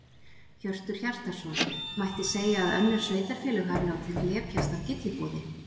Hjörtur Hjartarson: Mætti segja að önnur sveitarfélög hafi látið glepjast af gylliboði?